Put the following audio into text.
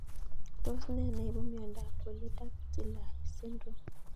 Tos ne neipu miondop polydactyly syndrome